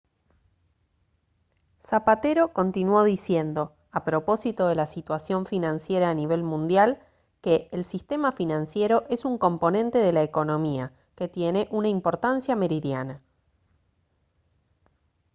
zapatero continuó diciendo a propósito de la situación financiera a nivel mundial que «el sistema financiero es un componente de la economía que tiene una importancia meridiana